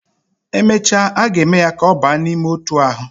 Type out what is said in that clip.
Emecha, aga eme ya ka oba nime otu ahu